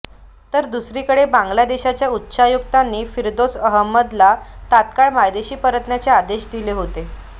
तर दुसरीकडे बांग्लादेशाच्या उच्चायुक्तांनी फिरदौस अहमदला तात्काळ मायदेशी परतण्याचे आदेश दिले होते